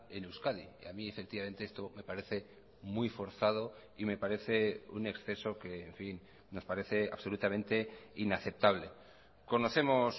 en euskadi y a mí efectivamente esto me parece muy forzado y me parece un exceso que en fin nos parece absolutamente inaceptable conocemos